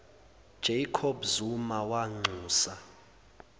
jacob zuma wanxusa